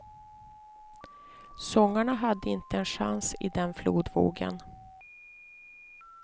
Sångarna hade inte en chans i den flodvågen.